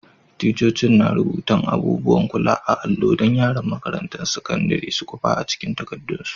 Ticcocin na rubutan abubuwan kula a'allo dan yaran makarantan sakandaren su kwapa cikin takadun su.